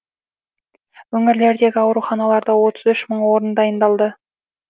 өңірлердегі ауруханаларда отыз үш мың орын дайындалды